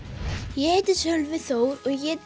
ég heiti Sölvi Þór og ég